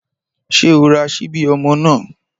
Ṣé o ra ṣíbí ọmọ náà?